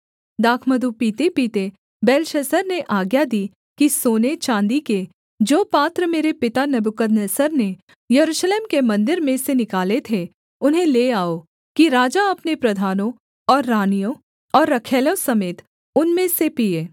दाखमधु पीतेपीते बेलशस्सर ने आज्ञा दी कि सोनेचाँदी के जो पात्र मेरे पिता नबूकदनेस्सर ने यरूशलेम के मन्दिर में से निकाले थे उन्हें ले आओ कि राजा अपने प्रधानों और रानियों और रखैलों समेत उनमें से पीए